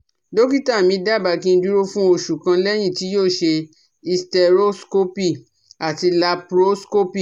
Dọ́kítà mí dábàá kí n dúró fún oṣù kan lẹ́yìn tí yóò ṣe Hysteroscopy àti Laproscopy